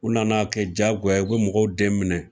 U nana kɛ diyagoya, u bɛ mɔgɔw den minɛ